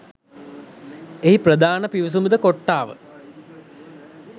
එහි ප්‍රධාන පිවිසුමද කොට්‌ටාව